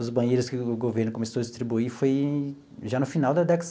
Os banheiros que o governo começou a distribuir foi já no final da década.